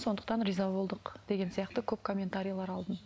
сондықтан риза болдық деген сияқты көп комментарийлер алдым